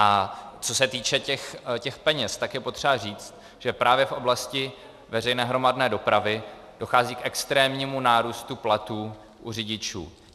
A co se týče těch peněz, tak je potřeba říct, že právě v oblasti veřejné hromadné dopravy dochází k extrémnímu nárůstu platů u řidičů.